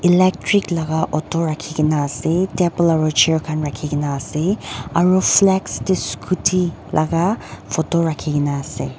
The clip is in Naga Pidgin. electric laka auto rakhikaena ase table aro chair khan rakhikaena ase aru tae scooty laka photo rakhikaena ase.